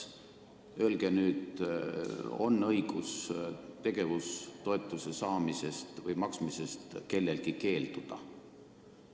Öelge nüüd, kas kellelgi on õigus tegevustoetuse saamisest või maksmisest keelduda?